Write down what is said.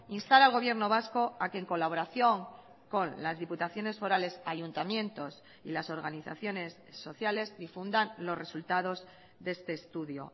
instaral gobierno vasco a que en colaboración con las diputaciones forales ayuntamientos y las organizaciones sociales difundan los resultados de este estudio